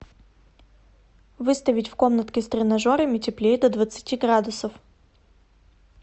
выставить в комнатке с тренажерами теплее до двадцати градусов